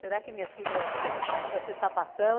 Será que minha filha, né, vai ser sapatão?